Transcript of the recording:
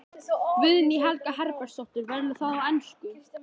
Guðný Helga Herbertsdóttir: Verður það á ensku?